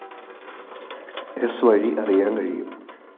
സ്‌ വഴി അറിയാന്‍ കഴിയും